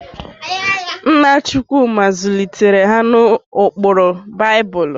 Nna Chukwuma zụlitere ha n'ụkpụrụ Baịbụl.m